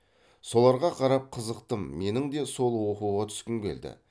соларға қарап қызықтым менің де сол оқуға түскім келді